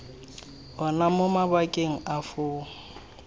ona mo mabakeng a foo